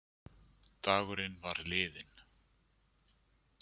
Dagurinn var liðinn.